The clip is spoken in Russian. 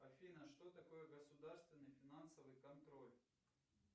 афина что такое государственный финансовый контроль